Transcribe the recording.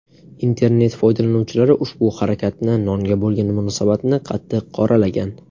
Internet foydalanuvchilari ushbu harakatni, nonga bo‘lgan munosabatni qattiq qoralagan.